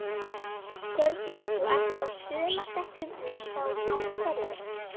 Hjördís: Þú ert á sumardekkjunum enn þá, af hverju?